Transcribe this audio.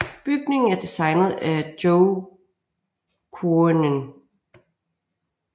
Bygningen er designet af Jo Coenen